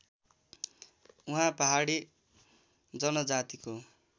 उहाँ पहाडी जनजातिको